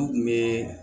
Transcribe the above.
N kun be